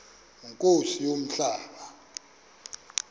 nkosi yam umhlaba